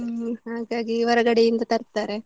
ಹ್ಮ್‌ ಹಾಗಾಗಿ ಹೊರಗಡೆಯಿಂದ ತರ್ತಾರೆ.